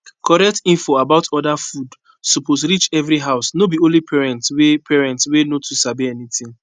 correct info about other food suppose reach every house no be only parents wey parents wey no too sabi anything